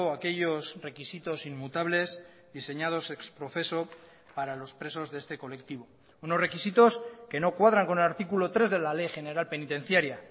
aquellos requisitos inmutables diseñados ex profeso para los presos de este colectivo unos requisitos que no cuadran con el artículo tres de la ley general penitenciaria